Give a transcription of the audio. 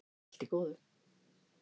Allt í góðu